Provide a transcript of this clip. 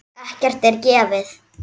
Ekkert er gefið.